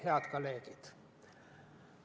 Head kolleegid!